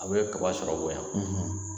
A bɛ kababa sɔrɔ bonya